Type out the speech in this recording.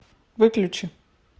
выключи